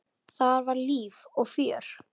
Þar var líf og fjör.